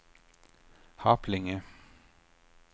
Harplinge